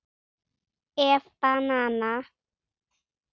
ef banana